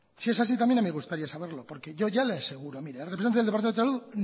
si es así también me gustaría saberlo porque yo ya le aseguro mire el representante el representante del departamento de salud